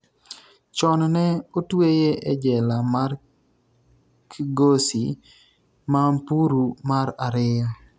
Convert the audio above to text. chon ne otweye e jela mar Kgosi Mampuru mar ariyo